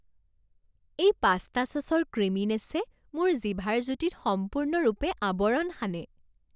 এই পাস্তা চচৰ ক্ৰিমিনেছে মোৰ জিভাৰ জুতিত সম্পূৰ্ণৰূপে আৱৰণ সানে।